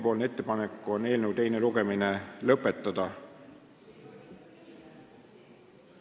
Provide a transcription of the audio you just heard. Meie ettepanek on eelnõu teine lugemine lõpetada.